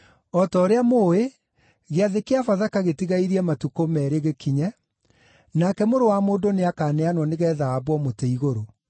“O ta ũrĩa mũũĩ, Gĩathĩ kĩa Bathaka gĩtigairie matukũ meerĩ gĩkinye, nake Mũrũ wa Mũndũ nĩakaneanwo nĩgeetha aambwo mũtĩ-igũrũ.”